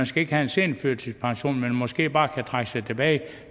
skal have en seniorførtidspension men måske bare kan trække sig tilbage